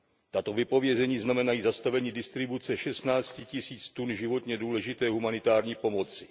Tato vypovězení znamenají zastavení distribuce šestnácti tisíc tun životně důležité humanitární pomoci.